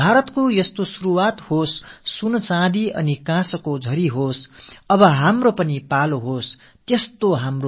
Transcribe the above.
பாரதத்திற்குப் பதக்கமழை பொழியட்டும்